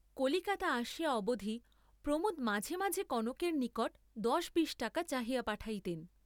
কলিকাতা আসিয়া অবধি প্রমোদ মাঝে মাঝে কনকের নিকট দশ বিশ টাকা চাহিয়া পাঠাইতেন।